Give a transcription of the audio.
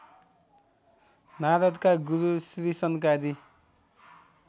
नारदका गुरु श्रीसनकादि